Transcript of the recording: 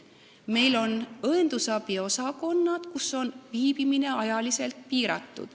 Meil on õendusabiosakonnad, kus viibimine on ajaliselt piiratud.